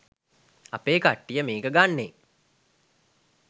අපේ කට්ටිය මේක ගන්නෙ